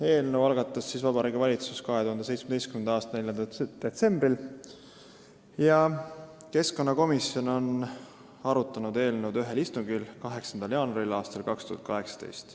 Eelnõu algatas Vabariigi Valitsus 2017. aasta 4. detsembril ja keskkonnakomisjon on seda arutanud ühel istungil, 8. jaanuaril aastal 2018.